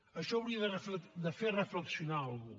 això hauria de fer reflexionar algú